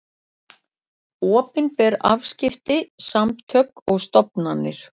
Opinber afskipti, samtök og stofnanir.